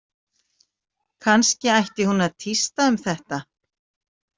Kannski ætti hún að tísta um þetta?